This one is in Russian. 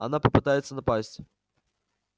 она попытается напасть